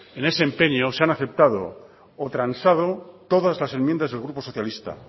en ese empeño se han aceptado o transado todas las enmiendas del grupo socialista